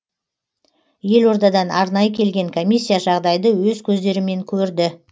елордадан арнайы келген комиссия жағдайды өз көздерімен көрді